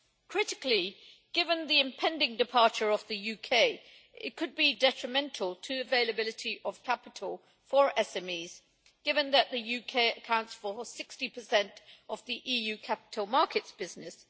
Critically, given the impending departure of the UK, it could be detrimental to availability of capital for SMEs, given that the UK accounts for 60 of the EU capital markets business.